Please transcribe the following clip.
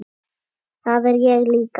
Það er ég líka.